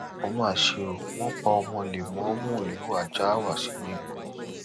ó mà ṣe ó wọn pa ọmọ lẹmọọmu ìlú àjáàwá sínú igbó